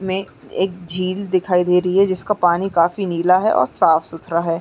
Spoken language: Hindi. में एक झील दिखाई दे रही है जिसका पानी काफी नीला है और साफ़-सुत्रा है।